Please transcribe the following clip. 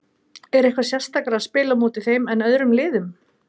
Er eitthvað sérstakara að spila á móti þeim en öðrum liðum?